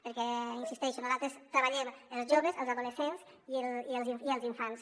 perquè hi insisteixo nosaltres treballem els joves els adolescents i els infants